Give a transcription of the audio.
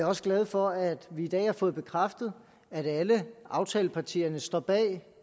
også glad for at vi i dag har fået bekræftet at alle aftalepartierne står bag